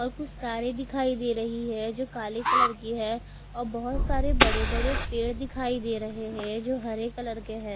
और कुछ कारे दिखाई दे रही है जो काले कलर की है और बहोत सारे पेड़ दिखाई दे रहे है जो हरे कलर के है।